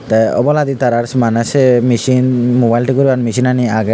tey obladi tarars maneh sei michin mobile thik goribar michinani agey.